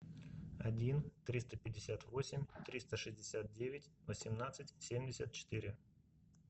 один триста пятьдесят восемь триста шестьдесят девять восемнадцать семьдесят четыре